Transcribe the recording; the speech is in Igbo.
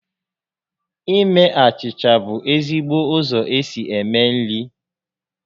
Ime achịcha bụ ezigbo ụzọ esi eme nri